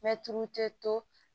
tulu tɛ to